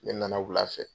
Ne nana wula fɛ